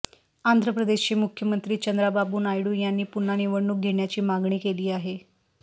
आंध्र प्रदेशचे मुख्यमंत्री चंद्राबाबू नायडू यांनी पुन्हा निवडणूक घेण्याची मागणी केली आहे